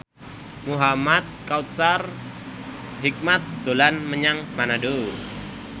Muhamad Kautsar Hikmat dolan menyang Manado